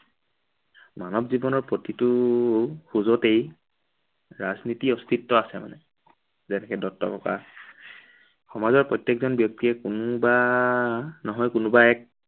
মানৱ জীৱনৰ প্ৰতিটো খোজতেই ৰাজনীতিৰ অস্তিত্ব আছে মানে। সমাজৰ প্ৰতিজন ব্য়ক্তিয়েই কোনোবো নহয় কোনোবা এক